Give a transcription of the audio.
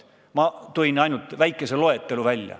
Ma tõin välja ainult väikese loetelu.